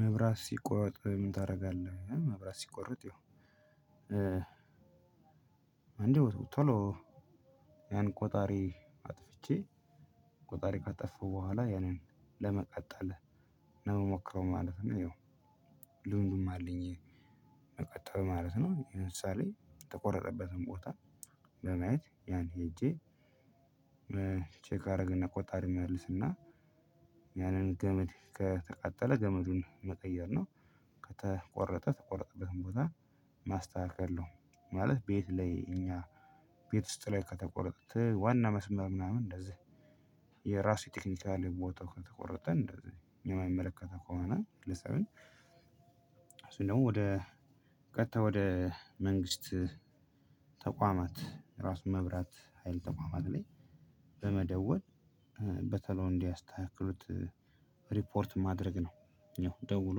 መብራት ሲቆረጥ ምን ታደርጋለህ? መብራት ሲቆረጥ ያው ቶሎ ያን ቆጣሪ አጥፍቼ ቆጣሪ ካጠፋው በኋላ ያንን ለመቀጠል ነው የምሞክረው ማለት ነው። ይኸው ልምዱም አለኝ። መቀጠል ማለት ነው ለምሳሌ ተቆረጠበትን ቦታ በማየት ያን ሄጄ ቼክ አደረገና ቆጣሪ መልስና ያንን ገመድ ከተቃጠለ ገመዱን መቀየር ነው። ከተቆረጠ ተቆረጥበትም ቦታ ማስተካከል ነው። ማለት ቤት ላይ እኛ ቤት ውስጥ ላይ ከተቆረጠች ዋና መስመር ምናምን እንደዚህ የራሱ ቴክኒካል ሞተ ከተቆረጠንእንደዚህ የማይመለከተው ከሆነ ለሰውን እሱን ደግሞ ወደ ቀጥታ ወደ መንግስት ተቋማት ራሱ መብራት ሀይል ተቋማት ላይ በመደወል በተለው እንዲያስተካክሉት ሪፖርት ማድረግ ነው። ያው ደውሎ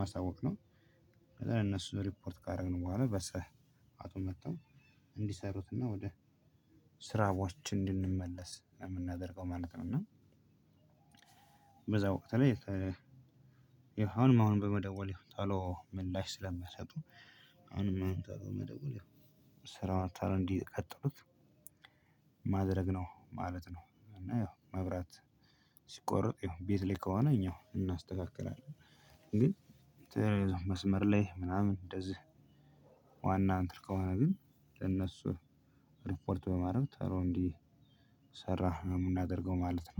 ማሳወቅ ነው። ለነሱ ሪፖርት ካረግን በኋላ በሰ በሰአቱ መተው እንዲሰሩትና ወደ ስራዎች እንድንመለስ የምናደርገው ማለት ነው። እና ተለየ አሁንም አሁንም በመደወል ቶሎ ምላሽ ስለምትሰጡ አሁንም አንተ በመደወል ያው ስራ አታር እንዲቀጥሉት ማድረግ ነው ማለት ነው። እና ያው መብራት ሲቆረጥ ያው ቤት ላይ ከሆነ እኛው እናስተካክላለን። ግን ተያይዞ መስመር ላይ ምናምን እንደዚህ ዋና እንትን ከሆነ ግን ለነሱ ሪፖርት በማድረግ ተሮ እንዲ ሰራ ነው ምናደርገው ማለት ነው